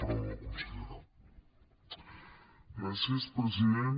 gràcies president